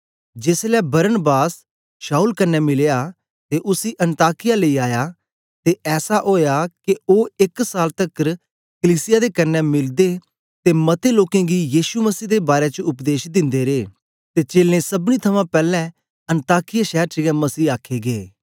जेसलै Barnabas Saul कन्ने मिलया ते उसी अन्ताकिया लेई आया ते ऐसा ओया के ओ एक साल तकर कलीसिया दे कन्ने मिलदे ते मतें लोकें गी यीशु मसीह दे बारै च उपदेश दिंदे रे ते चेलें सबनी थमां पैलैं अन्ताकिया शैर च गै मसीह आखे गै